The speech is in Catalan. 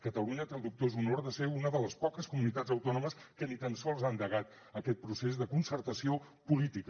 catalunya té el dubtós honor de ser una de les poques comunitats autònomes que ni tan sols ha endegat aquest procés de concertació política